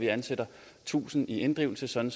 ansætter tusind i inddrivelse sådan